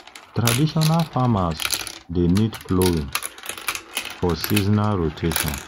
traditional farmers dey need ploughing for seasonal rotation um